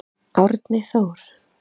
Árni Þór.